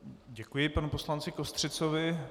Děkuji panu poslanci Kostřicovi.